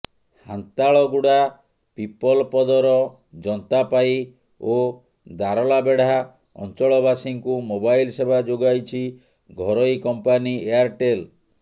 ହାନ୍ତାଳଗୁଡ଼ା ପିପଲପଦର ଯନ୍ତାପାଇ ଓ ଦାରଲାବେଡ଼ା ଅଞ୍ଚଳବାସୀଙ୍କୁ ମୋବାଇଲ ସେବା ଯୋଗାଇଛି ଘରୋଇ କମ୍ପାନୀ ଏୟାରଟେଲ